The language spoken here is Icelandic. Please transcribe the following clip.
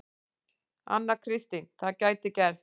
Anna Kristín: Það gæti gerst.